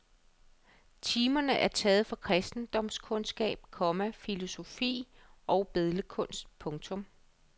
Timerne er taget fra kristendomskundskab, komma filosofi og billedkunst. punktum